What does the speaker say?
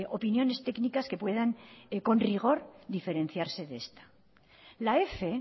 opiniones técnicas que puedan con rigor diferenciarse de este la f